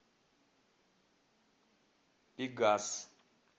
пегас